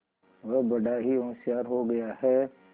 वह बड़ा ही होशियार हो गया है